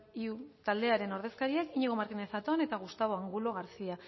iu taldearen ordezkariak iñigo martínez zatón eta gustavo angulo garcía